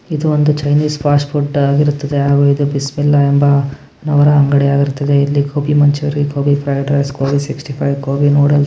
ಇದೊಂದು Chinese fast food ಇರುತ್ತೆ ಹಾಗು ಇದು ಬಿಸ್ಮಿಲ್ಲಾ ಎಂಬ ನವರ ಅಂಗಡಿ ಆಗಿರುತ್ತದೆ. ಇಲ್ಲಿ gobi Manchurian gobi fried rice gobi sixty five gobi noodles --